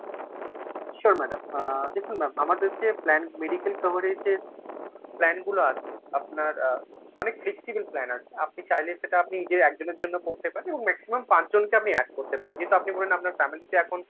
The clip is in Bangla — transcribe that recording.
sure madam, আ দেখুন আমাদের যে plan medical coverage এর plan গুলো আছে আপনার আ অনেক flexible plan আছে। আপনি চাইলে সেটা আপনি নিজের একজনের জন্য করতে পারেন এবং maximum পাঁচজনকে আপনি add করতে পারেন, যেহেতু আপনি বলেন আপনার family তে এখন